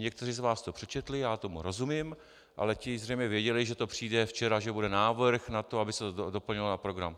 Někteří z vás to přečetli, já tomu rozumím, ale ti zřejmě věděli, že to přijde včera, že bude návrh na to, aby se to doplnilo na program.